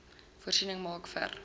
voorsiening maak vir